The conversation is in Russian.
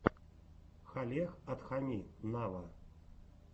халех адхами нава